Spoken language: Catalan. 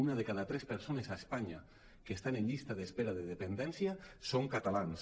una de cada tres persones a espanya que estan en llista d’espera de de·pendència són catalans